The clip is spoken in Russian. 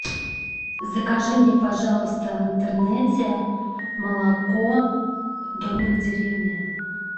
закажи мне пожалуйста в интернете молоко домик в деревне